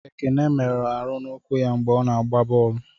Ekene merụrụ Aru n'ụkwụ ya mgbe ọ na-agba bọọlụ.